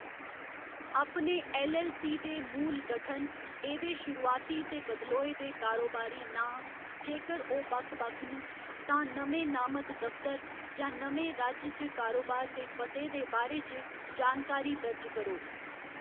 अपने ऐल्ल.ऐल्ल.सी. दे मूल गठन, एह्‌‌‌दे शुरुआती ते बदलोए दे कारोबारी नांऽ, जेकर ओह्‌‌ बक्ख बक्ख न, तां नमें नामत दफतर, जां नमें राज्य च कारोबार दे पते दे बारे च जानकारी दर्ज करो।